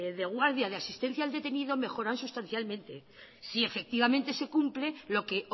de guardia de asistencia al detenido mejora sustancialmente si efectivamente se cumple lo que